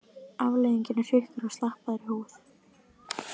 Afleiðingin eru hrukkur og slappari húð.